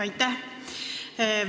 Aitäh!